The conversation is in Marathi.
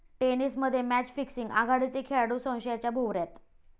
टेनिसमध्ये मॅच फिक्सिंग? आघाडीचे खेळाडू संशयाच्या भोवऱ्यात